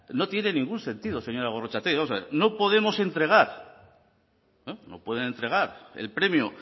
no tiene ningún sentido señora gorrotxategi vamos a ver no podemos entregar no pueden entregar el premio